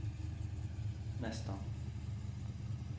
nästan